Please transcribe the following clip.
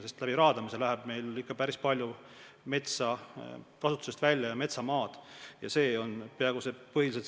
Sest raadamisega läheb meil siiski päris palju metsa ja metsamaad kasutusest välja.